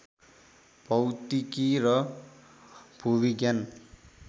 भौतिकी र भूविज्ञान